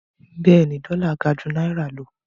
Bẹ́ẹ̀ni, dọ́là gà jú náírà lọ.